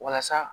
Walasa